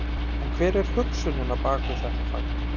En hver er hugsunin á bak við þetta fagn?